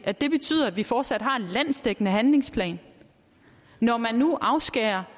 at det betyder at vi fortsat har en landsdækkende handlingsplan når man nu afskærer